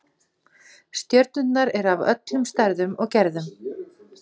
Stjörnurnar eru af öllum stærðum og gerðum.